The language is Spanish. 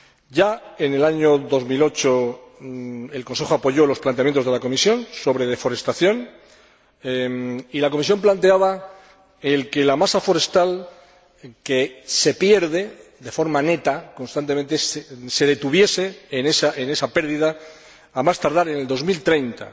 Ya en el año 2008, el Consejo apoyó los planteamientos de la Comisión sobre deforestación y la Comisión planteaba que la masa forestal, que se pierde de forma neta constantemente, se detuviese en esa pérdida, a más tardar en 2030,